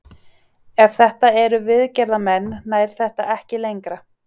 Ef þetta eru viðgerðarmenn nær þetta ekki lengra.